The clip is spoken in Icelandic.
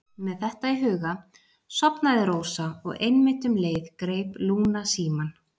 Með þetta í huga sofnaði Rósa og einmitt um leið greip Lúna símann